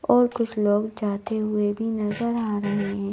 और कुछ लोग जाते हुए भी नजर आ रहे हैं।